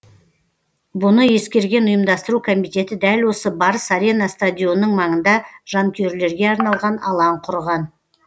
бұны ескерген ұйымдастыру комитеті дәл осы барыс арена стадионының маңында жанкүйерлерге арналған алаң құрған